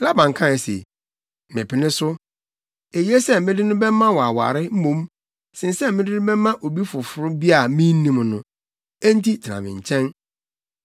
Laban kae se, “Mepene so! Eye sɛ mede no bɛma wo aware mmom sen sɛ mede no bɛma obi foforo bi a minnim no. Enti tena me nkyɛn.”